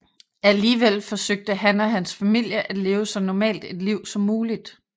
Alligevel forsøgte han og hans familie at leve så normalt et liv som muligt